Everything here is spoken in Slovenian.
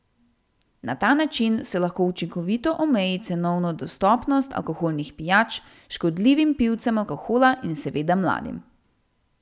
Na ta način se lahko učinkovito omeji cenovno dostopnost alkoholnih pijač škodljivim pivcem alkohola in seveda mladim.